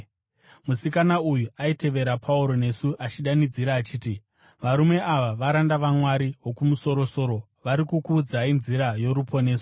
Musikana uyu aitevera Pauro nesu, achidanidzira achiti, “Varume ava varanda vaMwari Wokumusoro-soro, vari kukuudzai nzira yoruponeso.”